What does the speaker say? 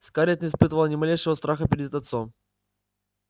скарлетт не испытывала ни малейшего страха перед отцом